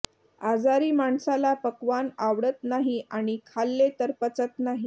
आजारी माणसाला पक्वान आवडत नाही आणि खाल्ले तर पचत नाही